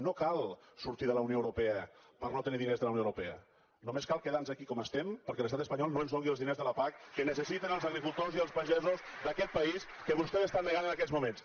no cal sortir de la unió europea per no tenir diners de la unió europea només cal quedar nos aquí com estem perquè l’estat espanyol no ens doni els diners de la pac que necessiten els agricultors d’aquest país i que vostès estan negant en aquests moments